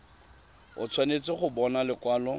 o tshwanetse go bona lekwalo